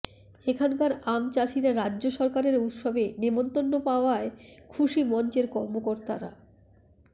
এখানকার আমচাষিরা রাজ্য সরকারের উৎসবে নেমন্তন্ন পাওয়ায় খুশি মঞ্চের কর্মকর্তারা